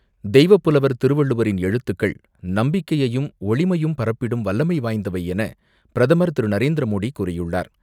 தெய்வப்புலவர் திருவள்ளுவரின் எழுத்துக்கள் நம்பிக்கையையும், ஒளிமையும் பரப்பிடும் வல்லமை வாய்ந்தவை என பிரதமர் திரு நரேந்திரமோடி கூறியுள்ளார்.